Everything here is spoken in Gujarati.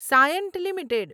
સાયન્ટ લિમિટેડ